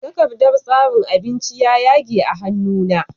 Takardar tsarin abinci ya yage a hannu na